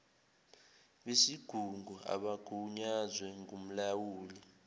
besigungu abagunyazwe ngumlawuli